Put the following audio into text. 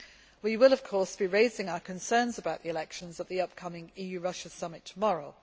We will of course be raising our concerns about the elections at the upcoming EU Russia summit tomorrow.